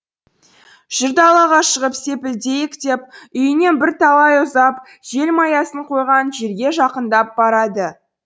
жүр далаға шығып сепілдейік деп үйінен бір талай ұзап желмаясын қойған жерге жақындап барады